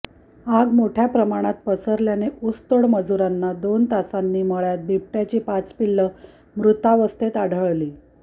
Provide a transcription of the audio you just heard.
आग मोठय़ा प्रमाणात पसरल्याने ऊसतोड मजुरांना दोन तासांनी मळय़ात बिबटय़ाची पाच पिल्ल मृतावस्थेत आढळली